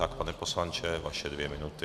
Tak, pane poslanče, vaše dvě minuty.